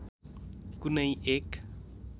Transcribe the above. कुनै एक